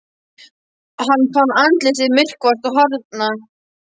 Hann fann andlit sitt myrkvast og harðna.